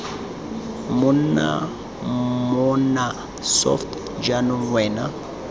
monna mmona soft jaanong wena